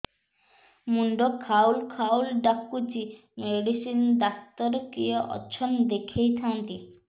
ମୁଣ୍ଡ ଖାଉଲ୍ ଖାଉଲ୍ ଡାକୁଚି ମେଡିସିନ ଡାକ୍ତର କିଏ ଅଛନ୍ ଦେଖେଇ ଥାନ୍ତି